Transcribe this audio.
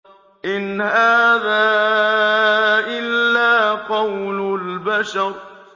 إِنْ هَٰذَا إِلَّا قَوْلُ الْبَشَرِ